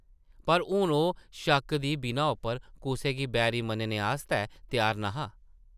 पर हून ओह् शक्क दी बिनाऽ उप्पर कुसै गी बैरी मन्नने आस्तै त्यार न’हा ।